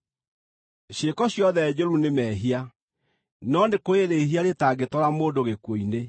Ciĩko ciothe njũru nĩ mehia, no nĩ kũrĩ rĩĩhia rĩtangĩtwara mũndũ gĩkuũ-inĩ.